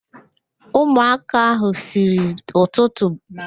Ụmụaka ahụ siri n'ụtụtụ begide ạ́kwá chi jie mgbe nna ha nwụrụ